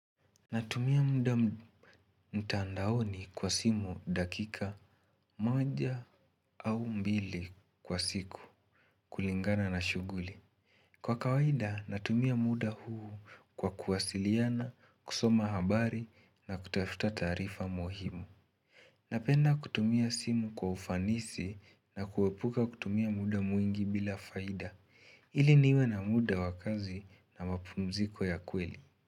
Natumia muda mtandaoni kwa simu dakika moja au mbili kwa siku kulingana na shughuli. Kwa kawaida natumia muda huu kwa kuwasiliana, kusoma habari na kutafuta taarifa muhimu. Napenda kutumia simu kwa ufanisi na kuepuka kutumia muda mwingi bila faida. Ili niwe na muda wa kazi na mapumziko ya kweli.